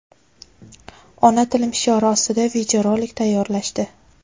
ona tilim shiori ostida video rolik tayyorlashdi.